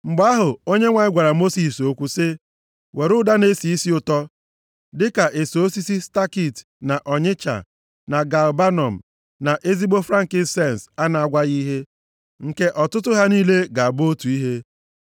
Mgbe ahụ Onyenwe anyị gwara Mosis okwu sị, “Were ụda na-esi isi ụtọ, dịka eso osisi stakit, na ọnyịcha, na galbanọm, na ezigbo frankisens a na-agwaghị ihe, nke ọtụtụ ha niile ga-abụ otu ihe.